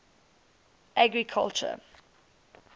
agriculture